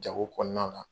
Jago kɔnɔna na